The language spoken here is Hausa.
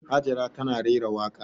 Hajara tana rera waƙa.